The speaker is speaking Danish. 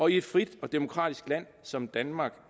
i et frit og demokratisk land som danmark